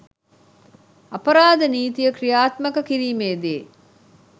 අපරාධ නීතිය ක්‍රියාත්මක කිරීමේදී